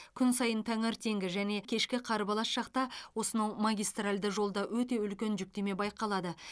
күн сайын таңертеңгі және кешкі қарбалас шақта осынау магистральді жолда өте үлкен жүктеме байқалады